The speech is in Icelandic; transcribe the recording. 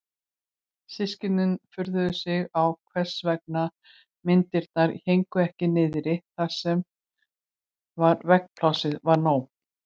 Systkinin furðuðu sig á hvers vegna myndirnar héngu ekki niðri þar sem veggplássið var nóg.